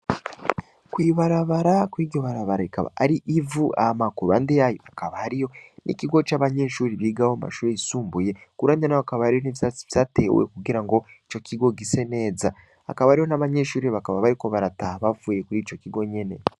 Kw'ibarabara kuri iryo barabara rikaba ari ivu hama kuruhande yaryo hakaba hariyo ikigo c'abanyeshuri bigaho amashuri yisumbuye kuruhande naho hakaba hari n'ivyatsi vyatewe kugirango icokigo gise neza, hakaba hariho n'abanyeshure bakaba bariko barataha bavuye kurico kigo nyene.